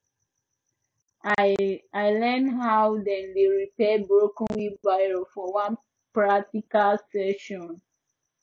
i learn how dem dey repair broken wheelbarrow for one practical session